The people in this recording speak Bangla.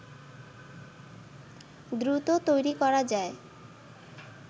দ্রুত তৈরি করা যায়